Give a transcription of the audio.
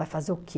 Vai fazer o quê?